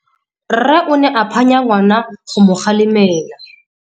Rre o ne a phanya ngwana go mo galemela.